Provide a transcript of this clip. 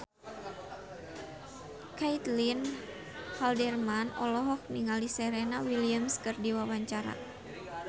Caitlin Halderman olohok ningali Serena Williams keur diwawancara